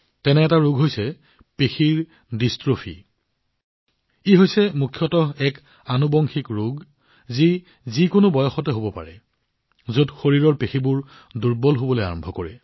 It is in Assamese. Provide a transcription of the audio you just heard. এনে এটা ৰোগ হৈছে মাস্কুলাৰ ডিষ্ট্ৰোফি ই হৈছে মুখ্যতঃ এক আনুবংশিক ৰোগ যি যিকোনো বয়সতে হব পাৰে যত শৰীৰৰ পেশী দুৰ্বল হবলৈ আৰম্ভ কৰে